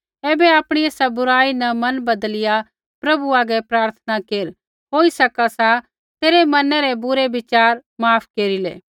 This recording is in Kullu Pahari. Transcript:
ऐबै आपणी एसा बुराई न मन बदलिया प्रभु हागै प्रार्थना केर होई सका सा तेरै मना रै बुरै विचार माफ केरिलै